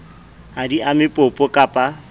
ha di ame popo kappa